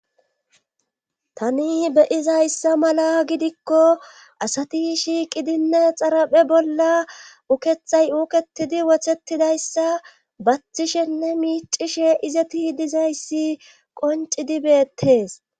tani beyizayssa mala gidikko asati shiiqidinne xaraphe bolla ukethay uuketidi wothetidayssa bathishenne miicishe izati dizayssi qoncidibeettees